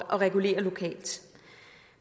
regulere lokalt